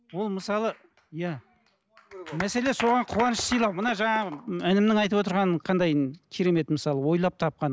ол мысалы иә мәселе соған қуаныш сыйлау мына жаңағы інімнің айтып отырғаны қандай керемет мысалы ойлап тапқан